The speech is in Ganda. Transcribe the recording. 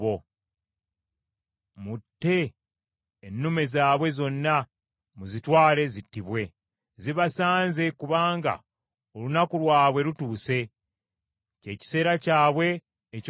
Mutte ennume zaabwe zonna, muzitwale zittibwe. Zibasanze kubanga olunaku lwabwe lutuuse, kye kiseera kyabwe eky’okubonerezebwa.